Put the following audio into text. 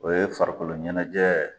O ye farikolo ɲɛnɛjɛ